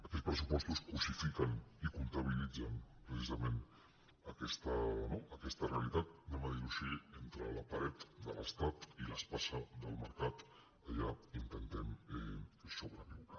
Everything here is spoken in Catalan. aquests pressuposts cossifiquen i comptabilitzen precisament aquesta no realitat diguem ho així entre la paret de l’estat i l’espasa del mercat allà intentem sobreviure